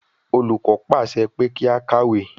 Olùkọ́ pàṣẹ pé kí á kàwé.